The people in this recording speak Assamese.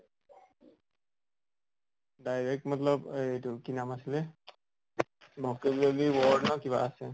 direct মতল এইটো কি নাম আছিলে vocabulary word নে কিবা আছে।